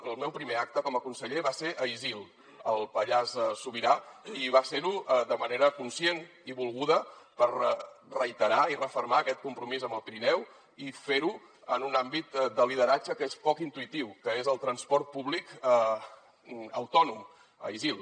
el meu primer acte com a conseller va ser a isil al pallars sobirà i va ser ho de manera conscient i volguda per reiterar i refermar aquest compromís amb el pirineu i ferho en un àmbit de lideratge que és poc intuïtiu que és el transport públic autònom a isil